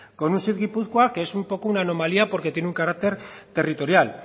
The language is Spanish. con un seed gipuzkoa que es un poco una anomalía porque tiene un carácter territorial